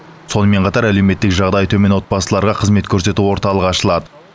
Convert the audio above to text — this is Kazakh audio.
сонымен қатар әлеуметтік жағдайы төмен отбасыларға қызмет көрсету орталығы ашылады